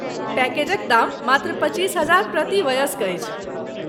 पैकेजक दाम मात्र पच्चीस हजार प्रति वयस्क अछि।